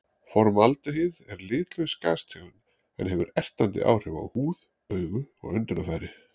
Formaldehýð er litlaus gastegund sem hefur ertandi áhrif á húð, augu og öndunarfæri.